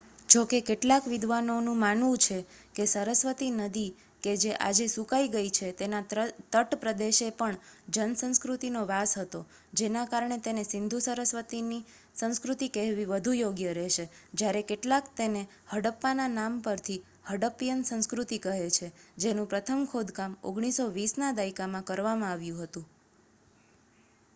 જો કે કેટલાક વિદ્વાનોનું માનવું છે કે સરસ્વતી નદી કે જે આજે સુકાઈ ગઈ છે તેના તટપ્રદેશે પણ જનસંસ્કૃતિનો વાસ હતો જેના કારણે તેને સિંધુ-સરસ્વતીની સંસ્કૃતિ કહેવી વધુ યોગ્ય રહેશે જ્યારે કેટલાક તેને હડપ્પાના નામ પરથી હડ્ડપીયન સંસ્કૃતિ કહે છે જેનું પ્રથમ ખોદકામ 1920 ના દાયકામાં કરવામાં આવ્યું હતું